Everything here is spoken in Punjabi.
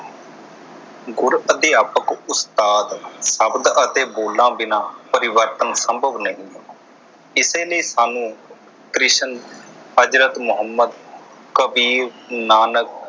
ਗੁਰ ਅਧਿਆਪਕ ਉਸਤਾਦ ਸ਼ਬਦ ਅਤੇ ਬੋਲਾਂ ਬਿਨਾ ਪਰਿਵਰਤਨ ਸੰਭਵ ਨਹੀਂ ਕਿਸੇ ਨੇ ਸਾਨੂੰ ਕ੍ਰਿਸ਼ਨ, ਹਜ਼ਰਤ ਮੁਹੰਮਦ, ਕਬੀਰ, ਨਾਨਕ